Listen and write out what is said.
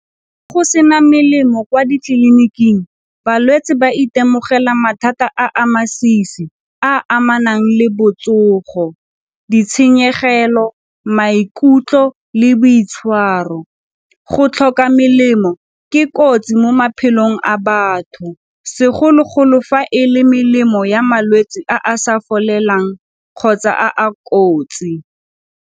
Go se na melemo kwa ditleliniking balwetse ba itemogela mathata a a masisi a amanang le botsogo, ditshenyegelo, maikutlo le botshwaro. Go tlhoka melemo ke kotsi mo maphelong a batho segologolo fa e le melemo ya malwetse a a sa folelang kgotsa a a kotsi.